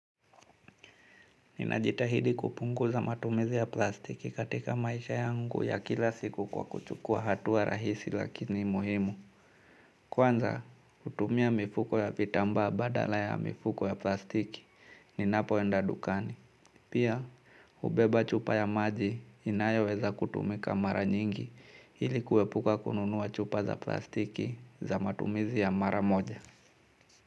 Ninajitahidi kupunguza matumizi ya plastiki katika maisha yangu ya kila siku kwa kuchukua hatua rahisi lakini muhimu. Kwanza, kutumia mifuko ya vitamba badala ya mifuko ya plastiki ninapo enda dukani. Pia, ubeba chupa ya maji inayoweza kutumika mara nyingi ilikuepuka kununua chupa za plastiki za matumizi ya mara moja.